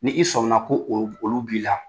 Ni i sɔmina ko olu b'i la